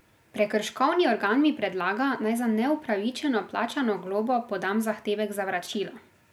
Prekrškovni organ mi predlaga, naj za neupravičeno plačano globo podam zahtevek za vračilo.